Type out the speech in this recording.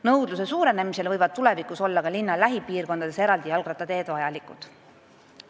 Nõudluse suurenemisel võivad tulevikus linna lähipiirkondades ka eraldi jalgrattateed vajalikud olla.